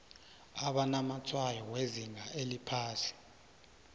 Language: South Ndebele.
abanamatshwayo wezinga eliphasi